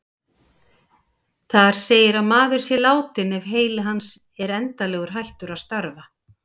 Þar segir að maður sé látinn ef heili hans er endanlega hættur að starfa.